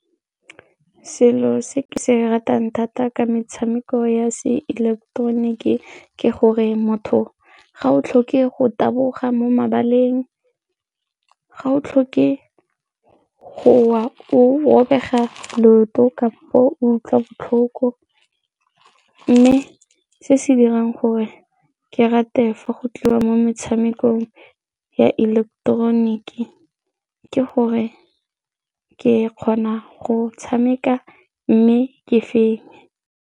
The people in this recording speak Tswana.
Selo se ke se ratang thata ke metshameko ya seileketeroniki ke gore motho ga o tlhoke go taboga mo mabaleng, ga o tlhoke go o bega leoto kampo utlwa botlhoko mme se se dirang gore ke rate fa go tlo mo metshamekong ya ileketeroniki ke gore ke kgona go tshameka mme ke fetse.